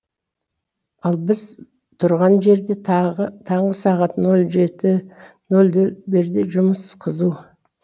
ал біз тұрған жерде тағы таңғы сағат нөл жеті нөлде жұмыс қызу